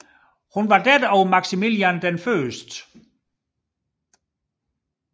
Hun var datter af Maximilian 1